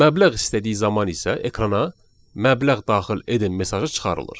məbləğ istədiyi zaman isə ekrana "məbləğ daxil edin" mesajı çıxarılır.